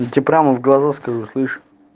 я тебя прямо в глаза скажу слышишь